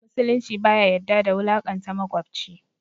Musulunci baya yadda da wulaƙanta maƙwabci